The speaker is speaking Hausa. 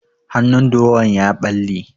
Hannun durowan ya ɓalle.